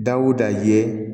Dawuda ye